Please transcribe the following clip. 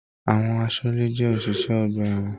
Àwọn àsọle jẹ oṣiṣẹ ọgbà ẹwọn.